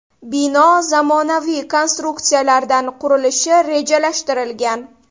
Bino zamonaviy konstruksiyalardan qurilishi rejalashtirilgan.